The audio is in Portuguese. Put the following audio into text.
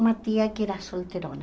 Uma tia que era solteirona.